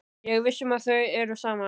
Ég er viss um að þau eru saman.